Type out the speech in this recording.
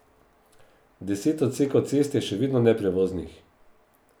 Deset odsekov cest je še vedno neprevoznih.